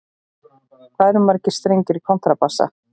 Hvað eru margir strengir í kontrabassa?